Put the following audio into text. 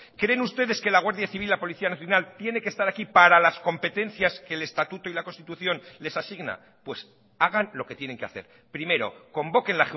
creen ustedes que la guardia civil la policía nacional tiene que estar aquí para las competencias que el estatuto y la constitución les asigna pues hagan lo que tienen que hacer primero convoquen